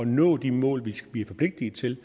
nå de mål vi er forpligtiget til